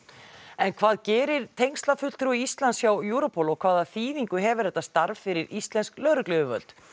en hvað gerir tengslafulltrúi Íslands hjá Europol og hvaða þýðingu hefur þetta starf fyrir íslensk lögregluyfirvöld